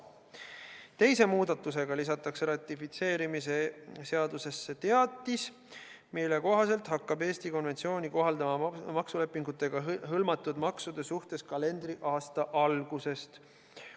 Teise muudatusena lisatakse ratifitseerimise seadusesse teatis, mille kohaselt hakkab Eesti konventsiooni kohaldama maksulepingutega hõlmatud maksude suhtes kalendriaasta algusest.